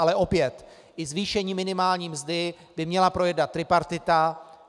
Ale opět, i zvýšení minimální mzdy by měla projednat tripartita.